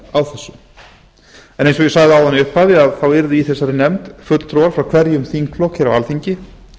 á þessu eins og ég sagði áðan í upphafi yrðu í nefndinni fulltrúar frá hverjum þingflokki á alþingi